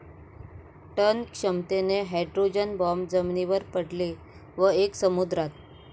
Ton क्षमतेचे hydrogen bomb जमिनीवर पडले व एक समुद्रात.